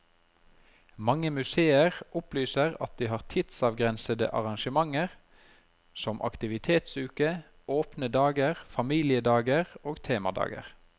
Mange museer opplyser at de har tidsavgrensede arrangementer som aktivitetsuke, åpne dager, familiedager og temadager.